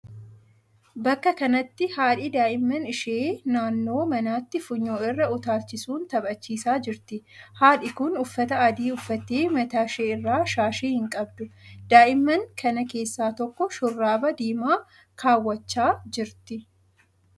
Bakka kanatti haadhi daa'imman ishee naannoo manaatti funyoo irra utaalchisuun taphachiisaa jirti. Haadhi kun uffata adii uffattee mataa ishee irraa shaashii hin qabdu. Daa'imman kana keessaa tokko shurraaba diimaa kaawwachaa jirti.